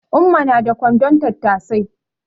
Umma na da kwandon tattasai